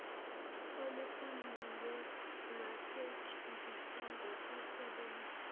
olufundiwe lwasetshenziswa ngokusebenzayo